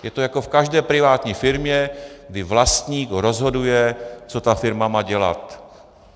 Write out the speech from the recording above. Je to jako v každé privátní firmě, kdy vlastník rozhoduje, co ta firma má dělat.